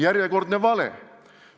Järjekordne vale!